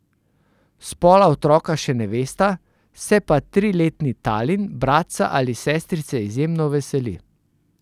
Spola otroka še ne vesta, se pa triletni Talin bratca ali sestrice izjemno veseli.